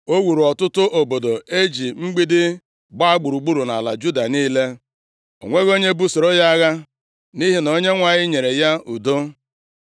O wuru ọtụtụ obodo e ji mgbidi gbaa gburugburu nʼala Juda niile. O nweghị onye busoro ya agha, nʼihi na Onyenwe anyị nyere ya udo.